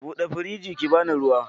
Buɗe firinjin ki bani ruwa